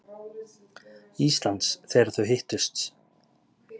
Íslands, þegar þau hittust.